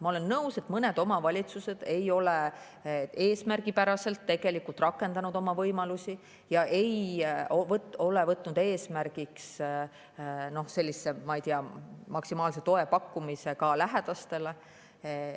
Ma olen nõus, et mõned omavalitsused ei ole oma võimalusi eesmärgipäraselt rakendanud ja nad ei ole võtnud eesmärgiks maksimaalse toe pakkumist lähedastele.